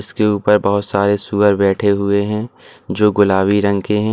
इसके ऊपर बहुत सारे सुवर बैठे हुए हैं जो गुलाबी रंग के हैं।